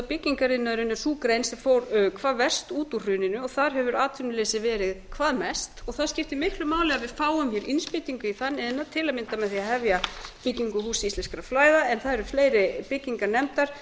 byggingariðnaðurinn er sú grein sem fór hvað verst út úr hruninu og þar hefur atvinnuleysið verið hvað mest það skiptir miklu máli að við fáum innspýtingu í þann iðnað til að mynda með því að hefja byggingu húss íslenskra fræða en það eru fleiri byggingar nefndar